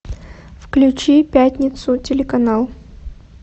включи пятницу телеканал